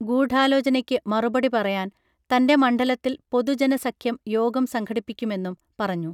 ഗൂഢാലോചനയ്ക്ക് മറുപടി പറയാൻ തൻറെ മണ്ഡലത്തിൽ പൊതു ജന സഖ്യം യോഗം സംഘടിപ്പിക്കുമെന്നും പറഞ്ഞു